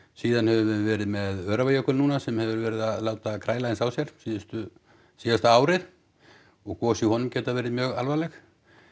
síðan höfum við verið með Öræfajökul núna sem hefur verið að láta kræla aðeins á sér síðasta síðasta árið og gos í honum geta verið mjög alvarleg